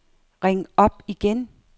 ring op igen